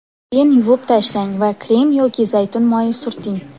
Keyin yuvib tashlang va krem yoki zaytun moyi surting.